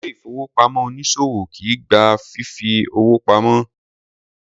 Ilé ìfowópamọ́ onísòwò kìí gba fífi owó pamo.